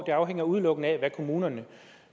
det afhænger udelukkende af hvad kommunerne